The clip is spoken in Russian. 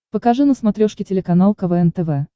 покажи на смотрешке телеканал квн тв